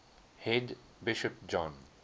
head bishop john